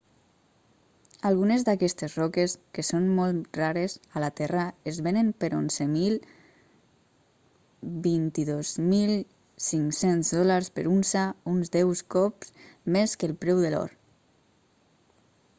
algunes d'aquestes roques que són molt rares a la terra es venen per 11.000-22.500 dòlars per unça uns deus cop més que el preu de l'or